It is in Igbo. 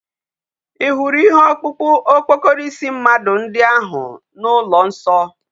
Ihuru ihe okpukpu okpokoro isi mmadu ndi ahu na ulo nso?